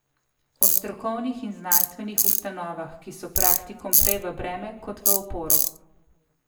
O strokovnih in znanstvenih ustanovah, ki so praktikom prej v breme kot v oporo.